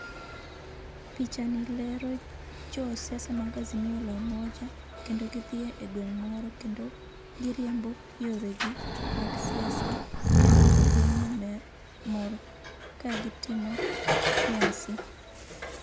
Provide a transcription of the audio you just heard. Pichani lero jo siasa mag Azimio la Umoja kendo gidhi e gweng moro kendo giriembo yore gi mag siasa kendo jo gweng no mor ka gitimo nyasi